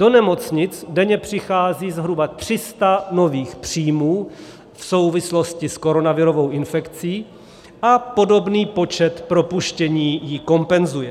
Do nemocnic denně přichází zhruba 300 nových příjmů v souvislosti s koronavirovou infekcí a podobný počet propuštění ji kompenzuje.